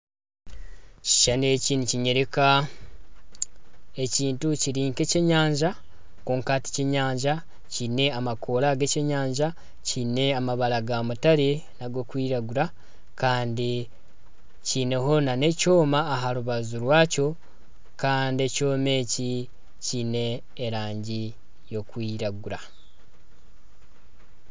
Ekishushani eki nikinyoreka ekintu kiri nk'ekyenyanja kwonka tikiri kyenyanja kiine amakoora g'ekyenyanja kiine amabara ga mutare n'ag'okwiragura kandi kineho nana ekyoma aha rubaju rwakyo kandi ekyoma eki kiine erangi yokwiragura.